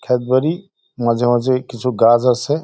ক্ষেত বাড়ি মাঝে মাঝে কিছু গাছ আছে।